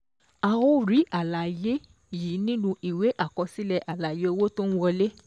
A ó rí àlàyé yìí nínú ìwé àkọsílẹ̀ àlàyé owó tó ń wọlé.